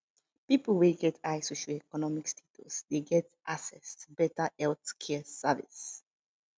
pipo wey get high socio-economic de get access to better health care service